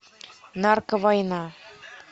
нарковойна